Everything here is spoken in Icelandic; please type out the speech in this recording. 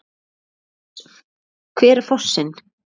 Hver er fossinn?